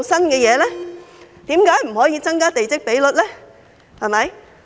為何不可以增加地積比率？